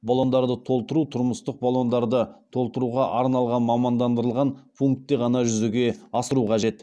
баллондарды толтыру тұрмыстық баллондарды толтыруға арналған мамандандырылған пунктте ғана жүзеге асыру қажет